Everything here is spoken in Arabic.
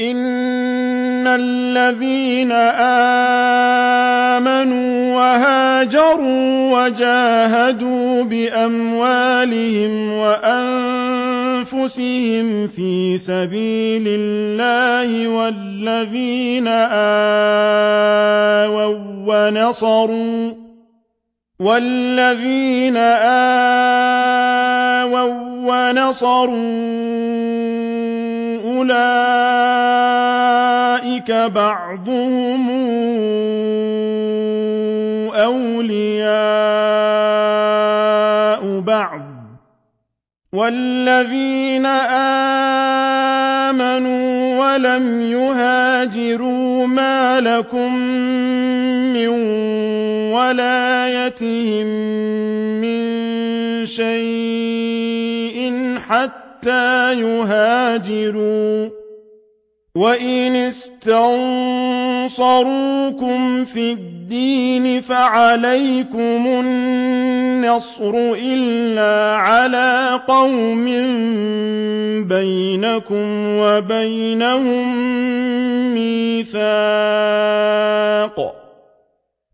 إِنَّ الَّذِينَ آمَنُوا وَهَاجَرُوا وَجَاهَدُوا بِأَمْوَالِهِمْ وَأَنفُسِهِمْ فِي سَبِيلِ اللَّهِ وَالَّذِينَ آوَوا وَّنَصَرُوا أُولَٰئِكَ بَعْضُهُمْ أَوْلِيَاءُ بَعْضٍ ۚ وَالَّذِينَ آمَنُوا وَلَمْ يُهَاجِرُوا مَا لَكُم مِّن وَلَايَتِهِم مِّن شَيْءٍ حَتَّىٰ يُهَاجِرُوا ۚ وَإِنِ اسْتَنصَرُوكُمْ فِي الدِّينِ فَعَلَيْكُمُ النَّصْرُ إِلَّا عَلَىٰ قَوْمٍ بَيْنَكُمْ وَبَيْنَهُم مِّيثَاقٌ ۗ